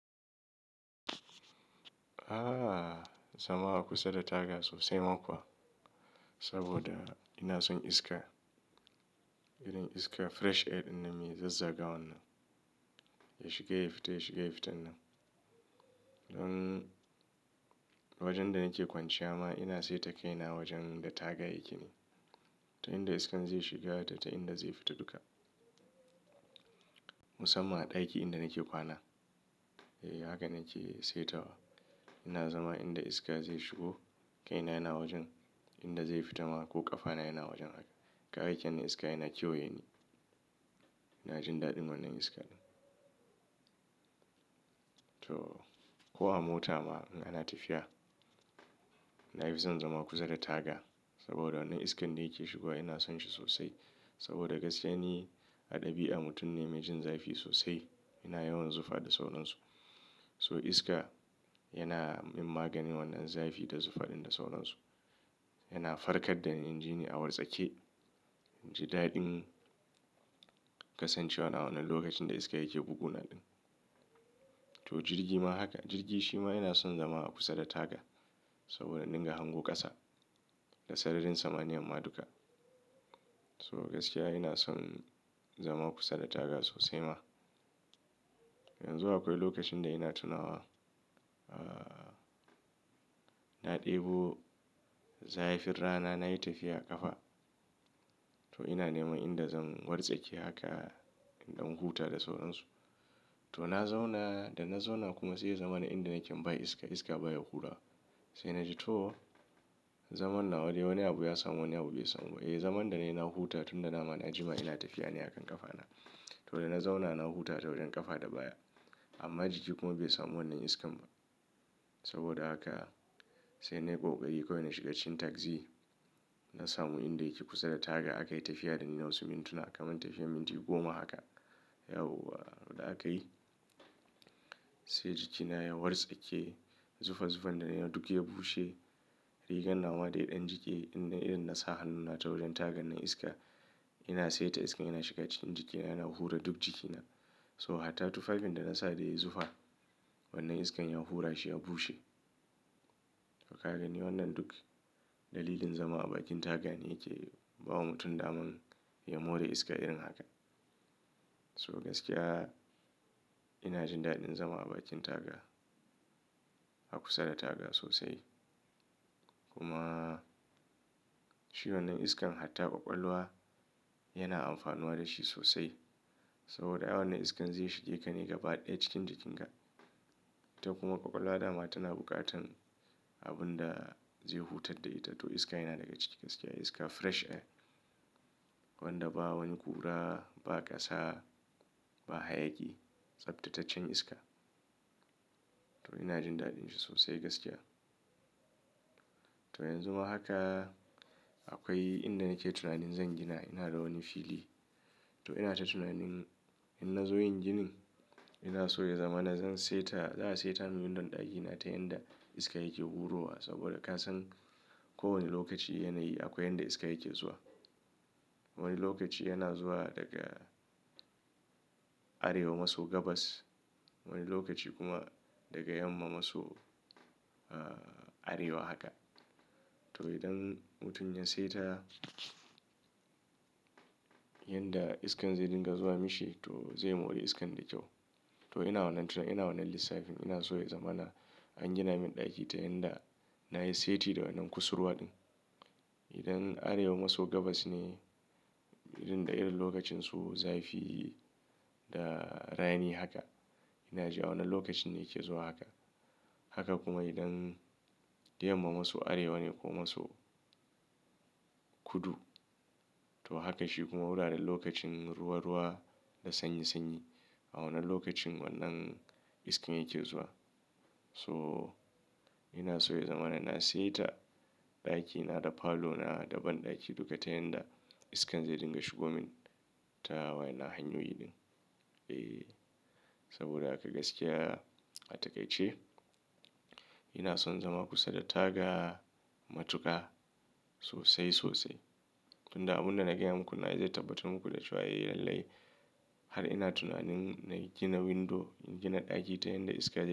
Ah zama a kusa da taga sosai ma kuwa, saboda ina son iska. Irin iska fresh air in nan mai zazzagawan nan. Ya shiga ya fita, ya shiga ya fita nan. Don wajen da nake kwanciya ma ina saita kaina wajen da taga yake ne. Ta inda iskan zai shiga da ta inda zai fita duka. Musamman ɗaki inda nake kwana. Eh haka nake saitawa. Ina zama inda iska zai shigo, kaina yana wajen inda zai fita ma ko ƙafana yana wajen haka. Kawai akeyi mun iska yana kewaye ni. Na jin daɗin wannan iska ɗin. To ko a mota ma in ana tafiya, na fi son zama kusa da taga saboda wannan iskan da yake shigowa ina son shi sosai. Saboda gaskiya ni a ɗabi'a mutum ne mai jin zafi sosai. Ina yawan zufa da sauran su. So iska yana min maganin wannan zafi da zufaɗin da sauran su. Yana farkar da ni injini a watsake. Ji daɗin kasancewa na wannan lokacin da iska yake buguna ɗin. To jirgi ma haka, jirgi shi ma ina son zama a kusa da taga saboda in dinga hango ƙasa da sararin samaniyan ma duka. So gaskiya ina son zama kusa da taga sosai ma. Yanzu akwai lokacin da ina tunawa, ah na ɗebo zafin rana na yi tafiya a ƙafa. To ina neman inda zan wartsake haka in dan huta da sauran su. To na zauna, da na zauna kuma sai ya zama na inda nake ba iska, iska baya hura. Sai na ji to, zaman nawade wani abu ya samu wani abu bai samu ba. Eh zaman da na yi na huta tunda dama na jima ina tafiya ne a kan ƙafana. To da na zauna na huta ta wurin ƙafa da baya. Amma jiki kuma bai samu wannan iskan ba. Saboda haka sai na yi kokari kawai na shiga cikin tagzi. Na samu inda yake kusa da taga aka yi tafiya da ni na wasu mintuna kamar tafiyar minti goma haka. Yawwa da aka yi sai jikina ya wartsake, zufa zufan da ya duk ya bushe. Rigan nawa da ya ɗan jike indai irin na sa hannuna ta wurin tagan nan iska, ina saita iskan yana shiga cikin jikina yana hura duk jikina. So hatta tufafin da na sa da ya yi zufa, wannan iskan ya hura shi ya bushe. To ka gani wannan duk dalilin zama a bakin taga ne yake bawa mutum daman ya more iska irin haka. So gaskiya ina jin daɗin zama a bakin taga, a kusa da taga sosai. Kuma shi wannan iskan hatta ƙwaƙwalwa yana amfanuwa da shi sosai. Saboda a yawan iskan zai shige ka ne gaba ɗaya cikin jikin ka. Ta kuma ƙwaƙwalwa dama tana buƙatan abun da zai hutar da ita to iska yana daga ciki gaskiya iska fresh air. Wanda ba wani ƙura, ba ƙasa, ba hayaki. Tsaftataccen iska. To ina jin daɗin shi sosai gaskiya. To yanzu ma haka akwai inda nake tunanin zan gina ina da wani fili. To ina ta tunanin in na zo yin ginin ina so ya zama na zan saita, za a saita min windon ɗakina ta yanda iska yake hurowa saboda ka san kowane lokaci yana yi akwai yanda iska yake zuwa. Wani lokaci yana zuwa daga arewa maso gabas. Wani lokaci kuma daga yamma maso ah arewa haka. To idan mutum ya saita yanda iskan zai dinga zuwa mishi to zai more iskan da kyau. To ina wannan tunani ina wannan lissafin ina so ya zama na an gina min ɗaki ta yanda na yi seti da wannan kusurwa ɗin. Idan arewa maso gabas ne irin da irin lokacin su zafi da rani haka. Ina ji a wannan lokacin ne yake zuwa haka. Haka kuma idan yamma maso arewa ne ko maso kudu. To haka shi kuma muna da lokacin ruwa ruwa da sanyi sanyi. A wannan lokacin wannan iskan yake zuwa. So ina so ya zama na na saita ɗakina da falo na da banɗaki duka ta yanda iskan zai dinga shigo min ta wayan nan hanyoyi ɗin. Eh saboda haka gaskiya a takaice ina son zama kusa da taga matuka sosai sosai. Tun da abun da na gaya muku nan zai tabbatar muku da cewa eh lalle. Har ina tunanin na gina window, in gina ɗaki ta yanda iska.